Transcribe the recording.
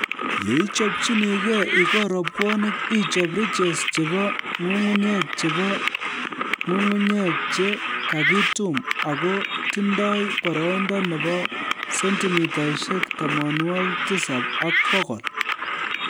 Yeichobchinigei ikol rabwonik ichob ridges chebo nyung'unyek chebo nyung'unyek che kakitum ako tindoi boroindo nebo sentimitaishek tamanwokik tisab ak bokol